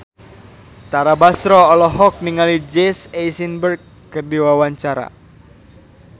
Tara Basro olohok ningali Jesse Eisenberg keur diwawancara